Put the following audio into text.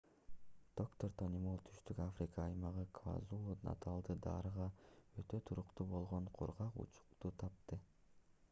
доктор тони молл түштүк африка аймагы квазулу-наталда дарыга өтө туруктуу болгон кургак учукту тапты